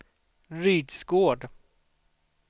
Rydsgård